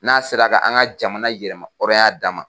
N'a sera ka an ga jamana yɛrɛma hɔrɔnya d'an ma.